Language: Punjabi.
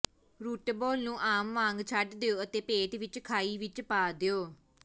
ਰੂਟਬਾਲ ਨੂੰ ਆਮ ਵਾਂਗ ਛੱਡ ਦਿਓ ਅਤੇ ਪੇਟ ਵਿਚ ਖਾਈ ਵਿਚ ਪਾ ਦਿਓ